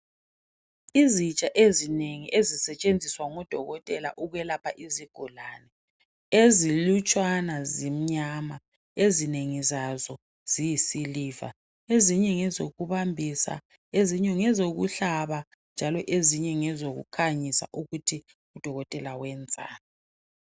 Izitsha ezinengi ezisetshenziswa ngodokotela ukwelapha izigulani. Ezilutshwana zimnyama ezingengi zabo ziyisiliva, ezinye ngezokubamba, ezinye ngezokuhlaba ezinye ngezokukhanyisa ukuthi udokotela uyenzani.